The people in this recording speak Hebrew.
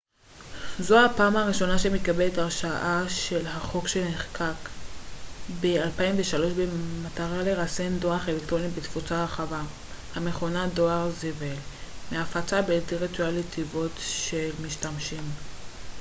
זו הפעם הראשונה שמתקבלת הרשעה לפי החוק שנחקק ב-2003 במטרה לרסן דואר אלקטרוני בתפוצה רחבה המכונה דואר זבל מהפצה בלתי רצויה לתיבות דואר של משתמשים